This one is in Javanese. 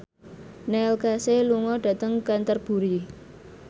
Neil Casey lunga dhateng Canterbury